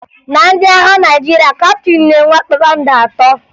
Na ndị agha Naịjirịa, kaptịn na-enwe kpakpando atọ